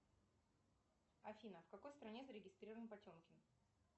афина в какой стране зарегистрирован потемкин